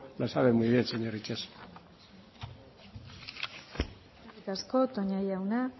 lo sabe muy bien señor itxaso eskerrik asko toña jauna